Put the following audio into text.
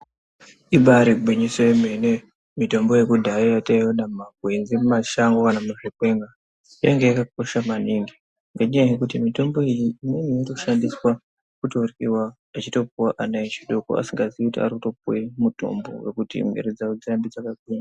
Ibaari gwinyiso yemene mitombo yekudhaya yataiona mumakwenzi mumashango kana muzvikwenga yanga yakakosha maningi ngenyaya yekuti mitombo iyi imweni inotoshandiswa kutoryiwa yechitopuwa ana echidoko asingaziyi kuti arikutopuwe mitombo yekuti mwiri dzao dzirambe dzakagwinya.